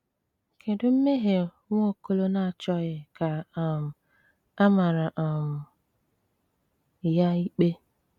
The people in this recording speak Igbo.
Kedu mmehie Nwaokolo na-achọghị ka um a mara um ya ikpe?